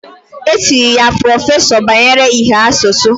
Etiri ya prọfesọ banyere ihe asusu